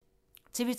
TV 2